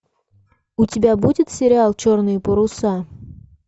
у тебя будет сериал черные паруса